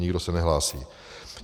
Nikdo se nehlásí.